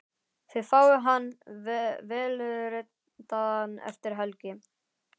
Þið fáið hann vélritaðan eftir helgi.